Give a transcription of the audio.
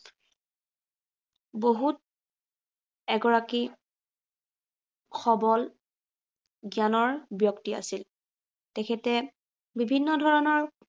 বহুত এগৰাকী সৱল জ্ঞানৰ ব্য়ক্তি আছিল। তেখেত, বিভিন্ন ধৰণৰ